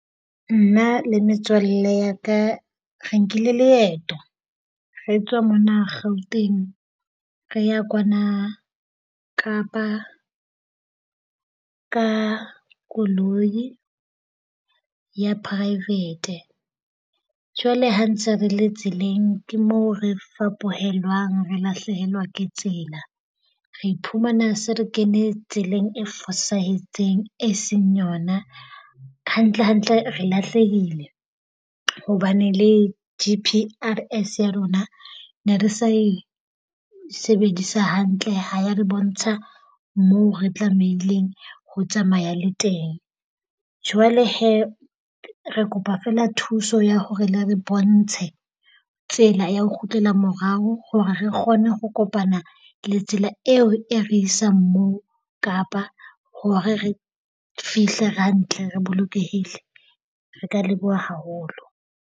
Nna le metswalle ya ka re nkile leeto re tswa mona Gauteng re ya kwana Kapa ka koloi ya private. Jwale ha ntse re le tseleng ke moo re fapohelwang re lahlehelwa ke tsela. Re iphumana se re kene tseleng e fosahetseng e seng yona. Hantle hantle re lahlehile, hobane le G_P_R_S ya rona ne re sa e sebedisa hantle ha ya re bontsha moo re tlamehileng ho tsamaya le teng. Jwale hee re kopa fela thuso ya hore le re bontshe tsela ya ho kgutlela morao hore re kgone ho kopana le tsela eo e re isang moo Kapa hore re fihle hantle re bolokehile. Re ka leboha haholo.